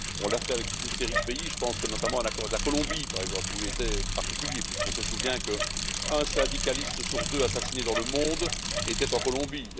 On l'a fait avec toute une série de pays, je pense notamment à l'accord avec la Colombie, par exemple, qui était particulier puisqu'on se souvient qu'un syndicaliste assassiné sur deux dans le monde était en Colombie.